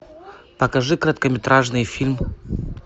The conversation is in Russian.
покажи короткометражный фильм